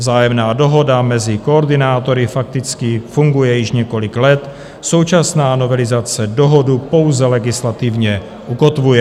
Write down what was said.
Vzájemná dohoda mezi koordinátory fakticky funguje již několik let, současná novelizace dohodu pouze legislativně ukotvuje.